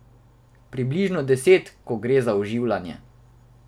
Približno deset, ko gre za oživljanje.